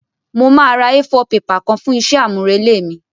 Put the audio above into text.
Mo máa ra A4 paper kan fún isé àmúrelé mí